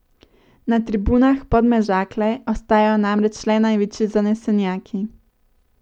Na tribunah Podmežakle ostajajo namreč le največji zanesenjaki.